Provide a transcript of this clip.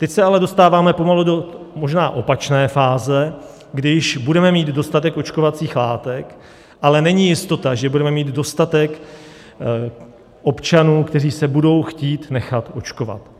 Teď se ale dostáváme pomalu do možná opačné fáze, když budeme mít dostatek očkovacích látek, ale není jistota, že budeme mít dostatek občanů, kteří se budou chtít nechat očkovat.